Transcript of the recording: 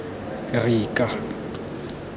rika